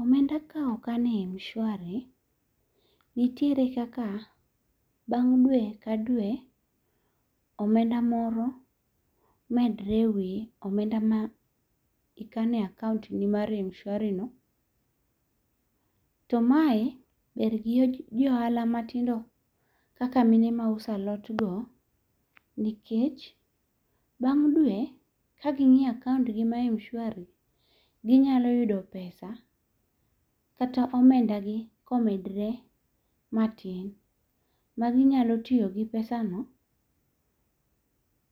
Omenda ka okan e Mshwari, nitiere kaka bang' dwe ka dwe, omenda moro medre ewi omenda ma ikano e accountni mar Mshwarino. To mae ber gi jo ohala matindo, kaka mine mauso alotgo, nikech, bang' dwe, ka gingíyo accountgi[ca] margi mar Mshwari, ginyalo yudo pesa, kata omendagi ka omedre matin. Ma ginyalo tiyo gi pesano,